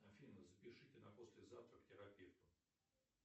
афина запишите на послезавтра к терапевту